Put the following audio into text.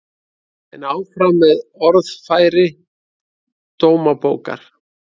En áfram með orðfæri Dómabókar